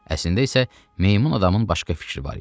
Əslində isə meymun adamın başqa fikri var idi.